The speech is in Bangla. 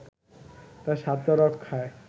তার স্বার্থ রক্ষায়